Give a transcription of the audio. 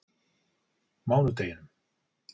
mánudeginum